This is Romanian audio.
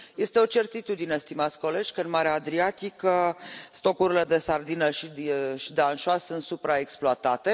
Este o certitudine, stimați colegi, că în Marea Adriatică stocurile de sardină și de anșoa sunt supraexploatate.